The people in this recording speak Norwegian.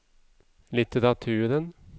litteraturen